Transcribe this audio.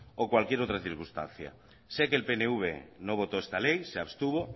o cualquier otra circunstancia sé que el pnv no votó esta ley se abstuvo